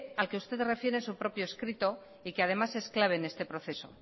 al que usted se refiere en su propio escrito y que además es clave en este proceso